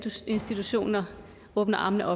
institutioner åbner armene